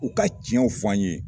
U ka tiɲɛw fɔ ye.